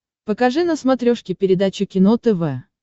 покажи на смотрешке передачу кино тв